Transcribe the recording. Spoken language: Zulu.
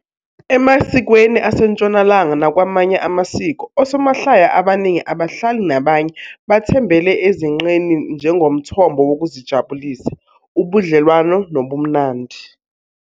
Emasikweni aseNtshonalanga nakwamanye amasiko, osomahlaya abaningi, ababhali nabanye bathembele ezinqeni njengomthombo wokuzijabulisa, ubudlelwano nobumnandi.